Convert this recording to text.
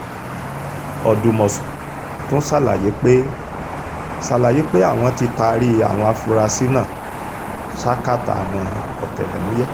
ọ̀dùmọ̀ṣù tún ṣàlàyé pé ṣàlàyé pé àwọn tí taari àwọn afurasí náà ṣákátá àwọn ọ̀tẹlẹ̀múyẹ́